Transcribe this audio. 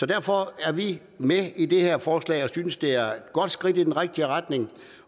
derfor er vi med i det her forslag og synes det er et godt skridt i den rigtige retning